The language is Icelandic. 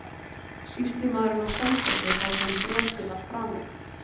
Sýslumaðurinn á Selfossi þar sem brotið var framið?